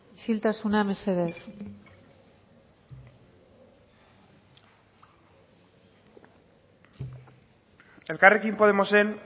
isiltasuna mesedez elkarrekin podemosen